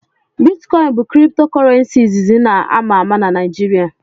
Bitcoin bụ kripto Kurrenci izizi na ama ama na Naịjirịa.